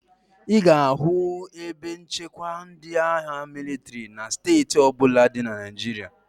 Ị ga-ahụ ebe nchekwa ndị agha mịlịtrị na steeti ọ bụla dị na Naịjirịa.